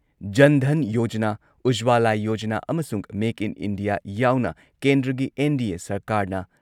ꯖꯟ ꯙꯟ ꯌꯣꯖꯅꯥ, ꯎꯖꯋꯥꯂꯥ ꯌꯣꯖꯅꯥ ꯑꯃꯁꯨꯡ ꯃꯦꯛ ꯏꯟ ꯏꯟꯗꯤꯌꯥ ꯌꯥꯎꯅ ꯀꯦꯟꯗ꯭ꯔꯒꯤ ꯑꯦꯟ.ꯗꯤ.ꯑꯦ ꯁꯔꯀꯥꯔꯅ